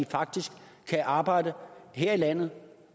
faktisk kan arbejde her i landet